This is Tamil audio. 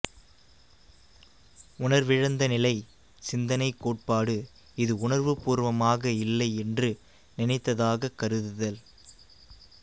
உணர்விழந்த நிலை சிந்தனைக் கோட்பாடு இது உணர்வுப்பூர்வமாக இல்லை என்று நினைத்ததாகக் கருதுதல்